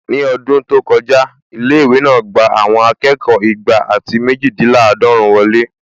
Ní ọdún tó kọjá, ilé-ìwé náà gbà àwọn akẹ́kọ̀ọ́ igba àti méjìdínláàdọ́run wọlé